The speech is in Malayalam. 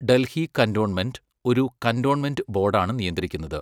ഡൽഹി കന്റോൺമെന്റ് ഒരു കന്റോൺമെന്റ് ബോഡാണ് നിയന്ത്രിക്കുന്നത്.